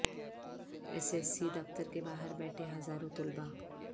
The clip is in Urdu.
ایس ایس سی دفتر کے باہر بیٹھے ہزاروں طلباء